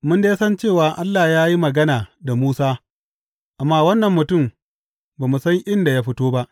Mun dai san cewa Allah ya yi magana da Musa, amma wannan mutum ba mu san inda ya fito ba.